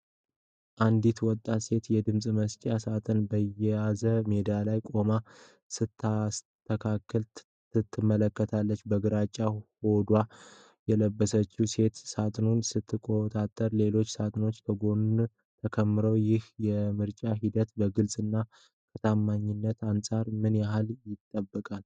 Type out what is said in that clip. አንዲት ወጣት ሴት የድምፅ መስጫ ሣጥኖችን በያዘው ሜዳ ላይ ቆማ ስታስተካክል ትመለከታለች። በግራጫ ሆዲ የለበሰችው ሴት ሣጥኖቹን ስትቆጣጠር ሌሎች ሣጥኖች ከጎኗ ተከምረዋል። ይህ የምርጫ ሂደት ከግልጽነትና ከታማኝነት አንፃር ምን ያህል ይጠበቃል?